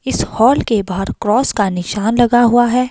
इस हॉल के बाहर क्रॉस का निशान लगा हुआ है।